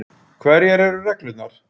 Hverjar eru reglurnar?